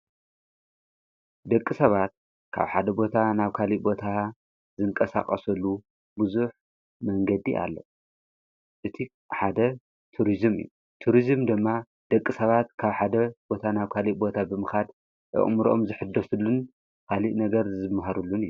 ደቂ ሰባት ካብ ሓደ ቦታ ናብ ካሊ ቦታ ዘንቀሳቐሰሉ ብዙኅ መንገዲ ኣለ እቲ ሓደ ቱርዝም እዩ ቱርዝም ድማ ደቂ ሰባት ካብ ሓደ ቦታ ናብ ካሊ ቦታ ብምኻድ ኣቕምሮኦም ዝኅደሱሉን ሃሊእ ነገር ዝምሃሩሉን እዩ ::